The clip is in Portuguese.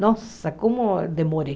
Nossa, como demorei.